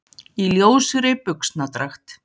Í ljósri buxnadragt.